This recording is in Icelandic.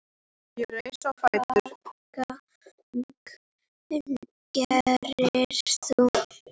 Hvaða gagn gerir þú?